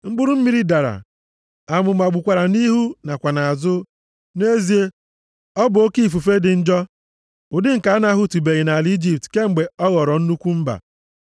Mkpụrụ mmiri dara, amụma gbukwara nʼihu nakwa nʼazụ. Nʼezie, ọ bụ oke ifufe dị njọ, ụdị nke a na-ahụtụbeghị nʼala Ijipt kemgbe ọ ghọrọ nnukwu mba.